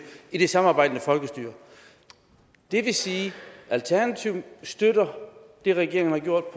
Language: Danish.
i det samarbejdende folkestyre det vil sige at alternativet støtter det regeringen har gjort